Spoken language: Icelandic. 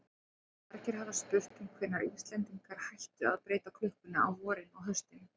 Margir hafa spurt um hvenær Íslendingar hættu að breyta klukkunni á vorin og haustin.